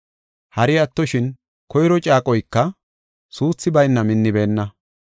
Hari attoshin, koyro caaqoyka suuthi bayna minnibeenna.